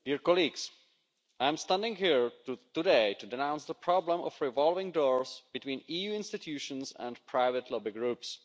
Madam President, I am standing here today to denounce the problem of revolving doors between EU institutions and private lobby groups.